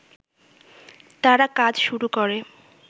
তারা কাজ শুরু করে